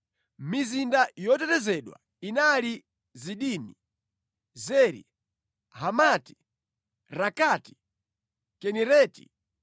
Mizinda yotetezedwa inali Zidimi, Zeri, Hamati, Rakati, Kinereti,